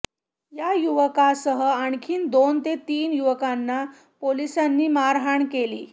या युवकासह आणखी दोन ते तीन युवकांना पोलिसांनी मारहाण केली